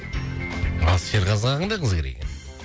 ал серғазыға қандай қыз керек екен